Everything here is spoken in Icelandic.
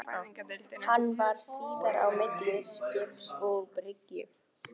Hann varð síðar á milli skips og bryggju.